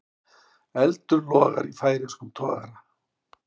Eldur logar í færeyskum togara